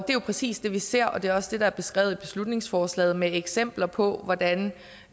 er jo præcis det vi ser og det er også det der er beskrevet i beslutningsforslaget med eksempler på hvordan